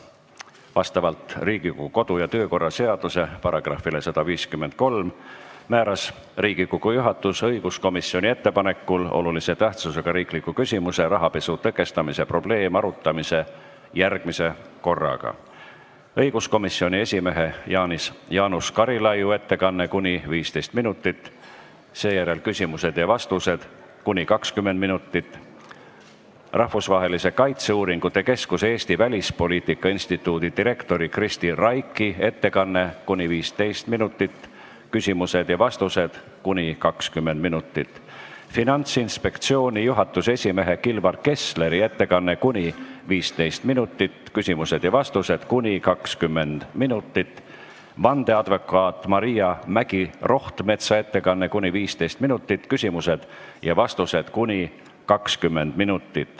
Vastavalt Riigikogu kodu- ja töökorra seaduse §-le 153 määras Riigikogu juhatus õiguskomisjoni ettepanekul olulise tähtsusega riikliku küsimuse "Rahapesu tõkestamise probleem" arutamiseks järgmise korra: õiguskomisjoni esimehe Jaanus Karilaidi ettekanne ning küsimused ja vastused , Rahvusvahelise Kaitseuuringute Keskuse Eesti Välispoliitika Instituudi direktori Kristi Raigi ettekanne ning küsimused ja vastused , Finantsinspektsiooni juhatuse esimehe Kilvar Kessleri ettekanne ning küsimused ja vastused , vandeadvokaat Maria Mägi-Rohtmetsa ettekanne ning küsimused ja vastused .